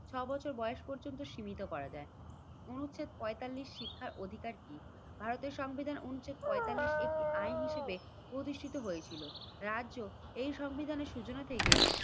ছয় বছর বয়স পর্যন্ত সীমিত করা যায়। অনুচ্ছেদ পঁয়তাল্লিশ শিক্ষার অধিকার কি? ভারতের সংবিধান অনুচ্ছেদ পঁয়তাল্লিশ একটি আইন হিসেবে প্রতিষ্ঠিত হয়েছিল। রাজ্য এই সংবিধানের সূচনা থেকে